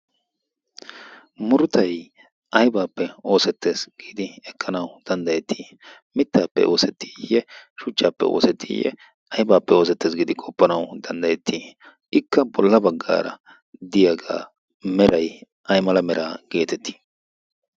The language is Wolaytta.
murutay aybaappe oosettees giidi ekkanawu danddayettii mittaappe oosettiiyye shuchchaappe oosettiiyye aibaappe oosettees. giidi qoppanawu danddayettii ikka bolla baggaara diyaagaa merai ay mala meraa geetettii?